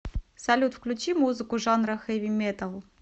салют включи музыку жанра хэви металл